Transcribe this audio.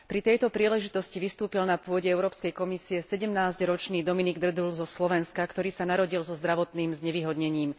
Pri tejto príležitosti vystúpil na pôde Európskej komisie 17 ročný Dominik Drdúl zo Slovenska, ktorý sa narodil so zdravotným znevýhodnením.